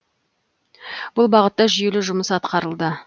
бұл бағытта жүйелі жұмыс атқарылды